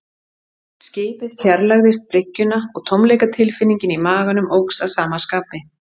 Skipið fjarlægðist bryggjuna og tómleikatilfinningin í maganum óx að sama skapi.